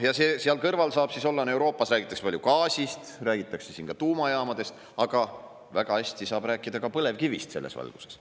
Seal kõrval saab siis olla – Euroopas räägitakse palju gaasist, räägitakse siin ka tuumajaamadest, aga väga hästi saab rääkida ka põlevkivist selles valguses.